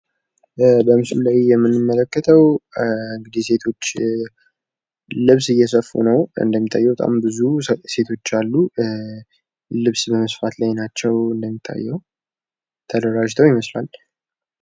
በምስሉ ላይ የምንመለከተው እንግዲህ ሴቶች ልብስ እየሰፋ ነው እንደሚታየው በጣም ብዙዎች ሴቶች አሉ። ልብስ በመስፋት ላይ ናቸው እንደሚታየው ተደራጅተው ይመስላል።